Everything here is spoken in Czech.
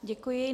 Děkuji.